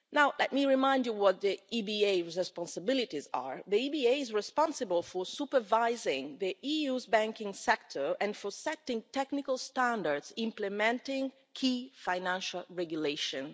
Let me remind you what the EBA's responsibilities are the EBA is responsible for supervising the EU's banking sector and for setting technical standards implementing key financial regulations.